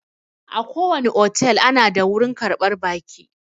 Akowane otel ana da wurin karɓar baƙi.